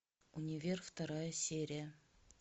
универ вторая серия